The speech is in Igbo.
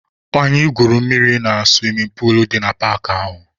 Anyị gwuru mmiri na suwimin puulu dị na paakị ahụ.